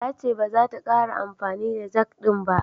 Ta ce baza ta ƙara amfani da jag ɗin ba.